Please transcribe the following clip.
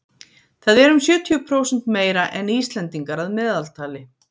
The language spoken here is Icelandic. það er um sjötíu prósent meira en íslendingar að meðaltali